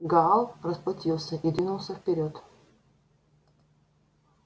гаал расплатился и двинулся вперёд